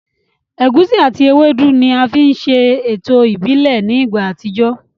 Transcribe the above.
Ẹ̀gusi àti ewédú ni a fi ń ṣe ètò ìbílẹ̀ ní ìgbà àtijọ́